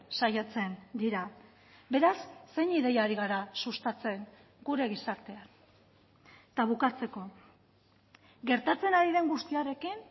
saiatzen dira beraz zein ideia ari gara sustatzen gure gizartean eta bukatzeko gertatzen ari den guztiarekin